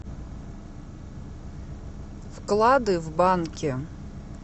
вклады в банке